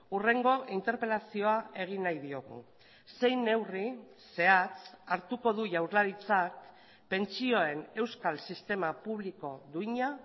hurrengo interpelazioa egin nahi diogu zein neurri zehatz hartuko du jaurlaritzak pentsioen euskal sistema publiko duina